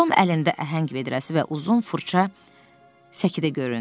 Tom əlində əhəng vedrəsi və uzun fırça səkidə göründü.